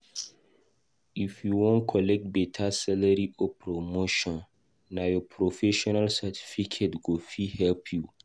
If u wan collect beta salary or promotion, nah ur professional certification go fit help u.